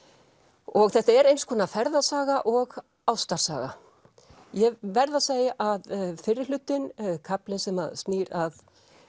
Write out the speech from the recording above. og þetta er eins konar ferðasaga og ástarsaga ég verð að segja að fyrri hlutinn kaflinn sem snýr að